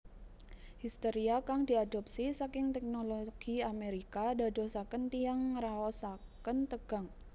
Histeria kang diadopsi saking teknologi Amerika ndadosaken tiyang ngraosaken tegang